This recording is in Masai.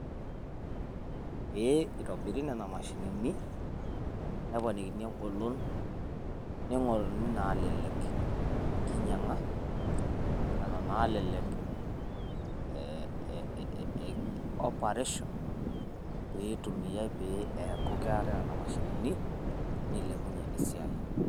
pee eitobiri nenaa mashinini neponikini engolon ningoruni nena nalelek enkinyanga wona nalelek operation peaku ketaii nena mashinini piilepunyiee esiai